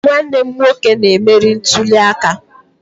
Nwanne m nwoke na-emeri ntuli aka